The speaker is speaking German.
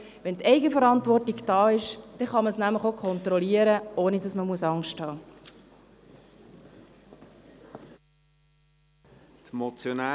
Wenn die Eigenverantwortung da ist, kann man es nämlich auch kontrollieren, ohne dass man Angst haben muss.